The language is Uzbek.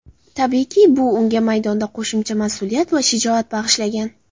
Tabiiyki, bu unga maydonda qo‘shimcha mas’uliyat va shijoat bag‘ishlagan.